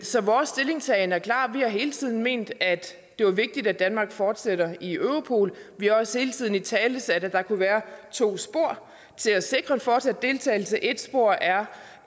så vores stillingtagen er klar vi har hele tiden ment at det er vigtigt at danmark fortsætter i europol vi har også hele tiden italesat at der kunne være to spor til at sikre en fortsat deltagelse ét spor er